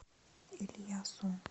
ильясом